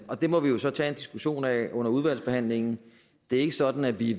og det må vi jo så tage en diskussion af under udvalgsbehandlingen det er ikke sådan at vi